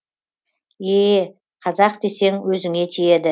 ееее қазақ десең өзіңе тиеді